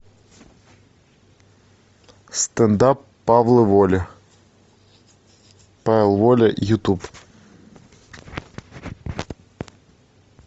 стэнд ап павла воли павел воля ютуб